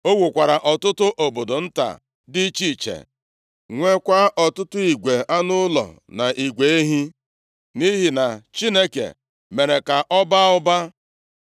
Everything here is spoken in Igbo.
O wukwara ọtụtụ obodo nta dị iche iche, nweekwa ọtụtụ igwe anụ ụlọ, na igwe ehi, nʼihi na Chineke mere ka ọ baa ụba.